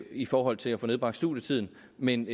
i forhold til at få nedbragt studietiden men